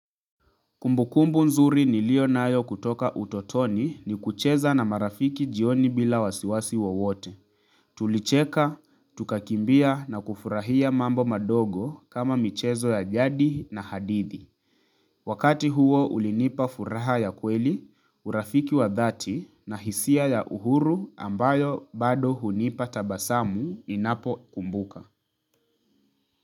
Kumbukumbu nzuri niliyo nayo kutoka utotoni ni kucheza na marafiki jioni bila wasiwasi wowote. Tulicheka, tukakimbia na kufurahia mambo madogo kama michezo ya jadi na hadithi. Wakati huo ulinipa furaha ya kweli, urafiki wa dhati na hisia ya uhuru ambayo bado hunipa tabasamu ninapokumbuka.